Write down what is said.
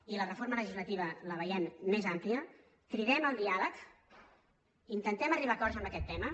i la reforma legislativa la veiem més àmplia cridem al diàleg intentem arribar a acords en aquest tema